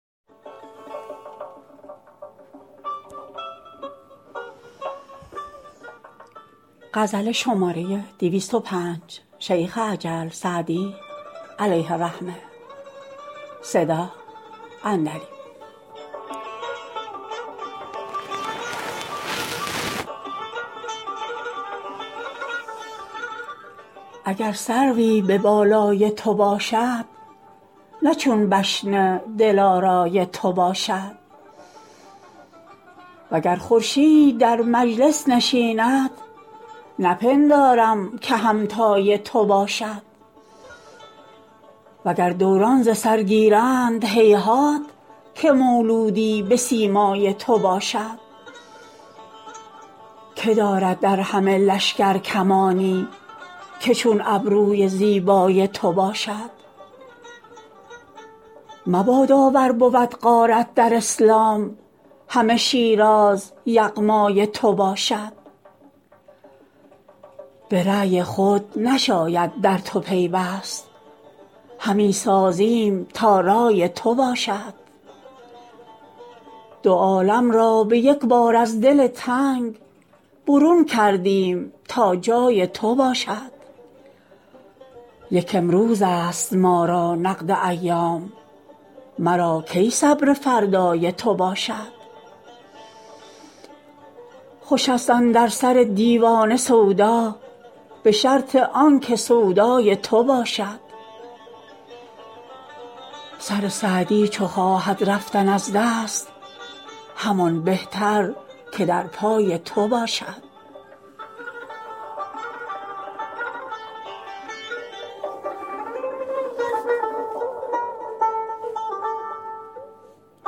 اگر سروی به بالای تو باشد نه چون بشن دلارای تو باشد و گر خورشید در مجلس نشیند نپندارم که همتای تو باشد و گر دوران ز سر گیرند هیهات که مولودی به سیمای تو باشد که دارد در همه لشکر کمانی که چون ابروی زیبای تو باشد مبادا ور بود غارت در اسلام همه شیراز یغمای تو باشد به رای خود نشاید در تو پیوست همی سازیم تا رای تو باشد دو عالم را به یک بار از دل تنگ برون کردیم تا جای تو باشد یک امروزست ما را نقد ایام مرا کی صبر فردای تو باشد خوشست اندر سر دیوانه سودا به شرط آن که سودای تو باشد سر سعدی چو خواهد رفتن از دست همان بهتر که در پای تو باشد